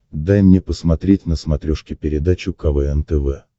дай мне посмотреть на смотрешке передачу квн тв